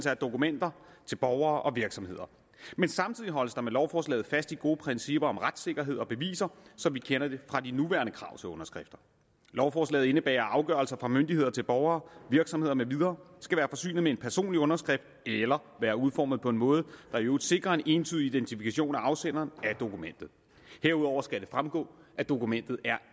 af dokumenter til borgere og virksomheder men samtidig holdes der med lovforslaget fast i gode principper om retssikkerhed og beviser som vi kender det fra de nuværende krav til underskrifter lovforslaget indebærer at afgørelser fra myndigheder til borgere virksomheder med videre skal være forsynet med en personlig underskrift eller være udformet på en måde der i øvrigt sikrer en entydig identifikation af afsenderen af dokumentet herudover skal det fremgå at dokumentet er